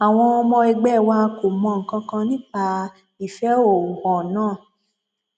àwọn ọmọ ẹgbẹ wa kò mọ nǹkan kan nípa ìfẹhóhù hàn náà